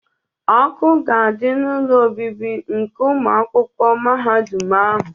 Ọkụ ga-adị n'ụlọ obibi nke ụmụ akwụkwọ mahadum ahụ.